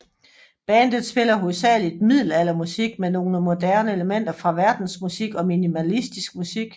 Bandet spiller hovedsageligt middelaldermusik med nogle moderne elementer fra verdensmusik og minimalistisk musik